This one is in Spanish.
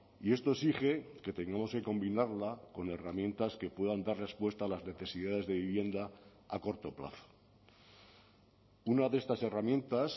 y esto exige que tengamos que combinarla con herramientas que puedan dar respuesta a las necesidades de vivienda a corto plazo una de estas herramientas